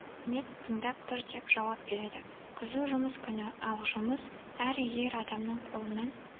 қызмет тыңдап тұр деп жауап береді қызу жұмыс күні ал жұмыс әр ер адамның қолынан